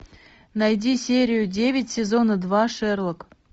найди серию девять сезона два шерлок